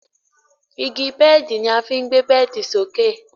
Igi bẹ́ẹ̀di ni a fí ń gbé bẹ́ẹ̀di sókè.